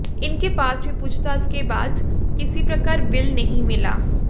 इनके पास भी पूछताछ के बाद किसी प्रकार बिल नहीं मिला